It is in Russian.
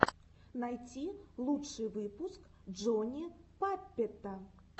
найти лучший выпуск джони паппета